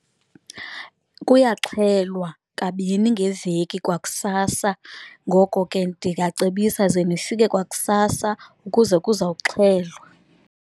Kuyaxhelwa kabini ngeveki kwakusasa. Ngoko ke ndingacebisa ze nifike kwakusasa ukuze kuzawuxhelwa.